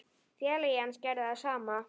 Félagi hans gerði það sama.